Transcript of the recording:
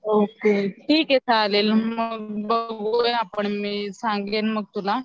okay ठीक आहे चालेल मग बघूया आपण मी सांगेन मग तुला